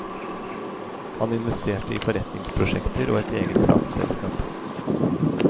Han investerte i forretningsprosjekter og et eget plateselskap.